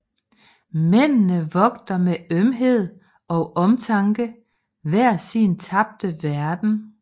Mændene vogter med ømhed og omtanke hver sin tabte verden